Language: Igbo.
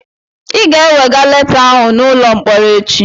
Ị ga-ewega leta ahụ n'ụlọ mkpọrọ echi